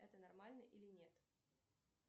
это нормально или нет